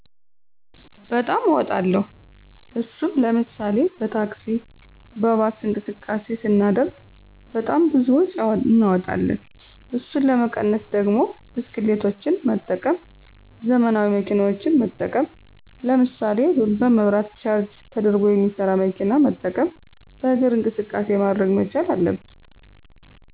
በጣም አወጣለሁ። እሱም ለምሳሌ፦ በታክሲ፣ በባስ እንቅስቃሴ ሰናደርግ ብጣም ብዙ ወጪ እናወጣለን። እሱን ለመቀነስ ደግሞ ብስክሌቶችን መጠቀም፣ ዘመናዊ መኪናዎችን መጠቀም ለምሳሌ፣ በመብራት ቻርጅ ተደርጎ የሚሠራ መኪና መጠቀም፣ በእግር እንቅቃሴ ማድረግ መቻል አለብን።